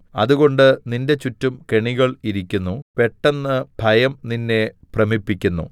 അതുകൊണ്ട് നിന്റെ ചുറ്റും കെണികൾ ഇരിക്കുന്നു പെട്ടെന്ന് ഭയം നിന്നെ ഭ്രമിപ്പിക്കുന്നു